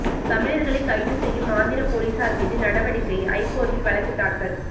தமிழர்களை கைது செய்யும் ஆந்திர போலீசார் மீது நடவடிக்கை ஐகோர்ட்டில் வழக்கு தாக்கல்